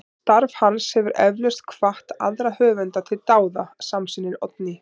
Starf hans hefur eflaust hvatt aðra höfunda til dáða, samsinnir Oddný.